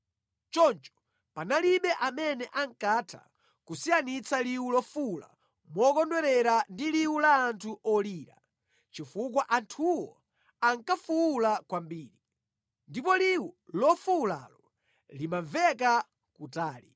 Choncho panalibe amene ankatha kusiyanitsa liwu lofuwula mokondwerera ndi liwu la anthu olira, chifukwa anthuwo ankafuwula kwambiri. Ndipo liwu lofuwulalo limamveka kutali.